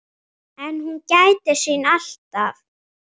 En hún gætir sín alltaf.